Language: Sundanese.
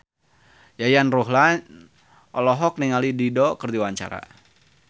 Yayan Ruhlan olohok ningali Dido keur diwawancara